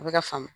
A bɛ ka faamu